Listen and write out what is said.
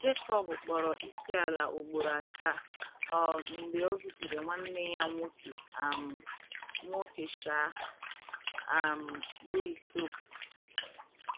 Jekọb kpọrọ isiala ugboro asaa um mgbe o zutere nwanne ya nwoke um nwoke um, um bụ́ ịsọ.